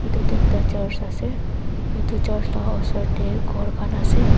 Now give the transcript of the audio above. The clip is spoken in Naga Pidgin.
etu ekta church ase etu church laka osor ti khor kan ase.